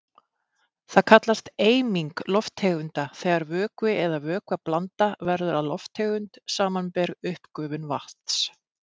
Það kallast eiming lofttegunda þegar vökvi eða vökvablanda verður að lofttegund, samanber uppgufun vatns.